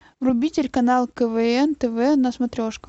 вруби телеканал квн тв на смотрешке